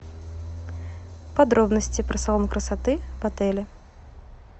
подробности про салон красоты в отеле